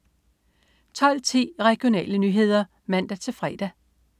12.10 Regionale nyheder (man-fre)